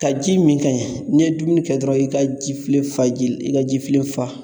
Ka ji min ka ɲɛ, n'i ye dumuni kɛ dɔrɔn i ka jifilen fa ji la i ka jifilen fa